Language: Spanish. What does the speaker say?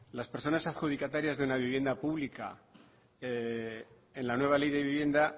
las personas adjudicatarias de una vivienda pública en la nueva ley de vivienda